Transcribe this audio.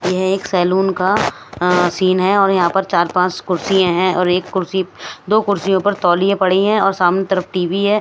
ये एक सैलून का सीन हैऔर यहां पर चार-पांच कुर्सियां हैंऔर एक कुर्सी दो कुर्सियों पर तौलियां पड़ी हैंऔर सामने तरफ टीवी है।